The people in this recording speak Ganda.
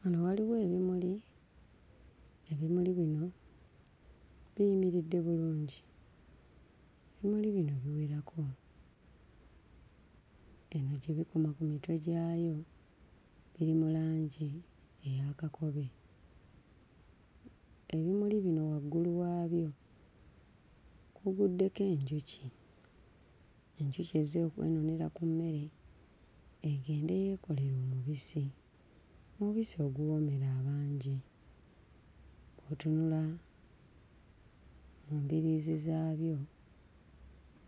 Wano waliwo ebimuli, ebimuli bino biyimiridde bulungi. Ebimuli bino biwerako. Eno gye bikoma ku mitwe gyabyo biri mu langi eya kakobe. Ebimuli bino waggulu waabyo kuguddeko enjuki. Enjuki ezze okwenuunira ku mmere egende yeekolere omubisi, omubisi oguwoomera abangi. Bw'otunula mu mbiriizi zaabyo